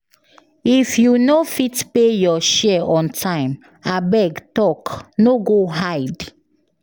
If you no fit pay your share on time, abeg talk, no go hide.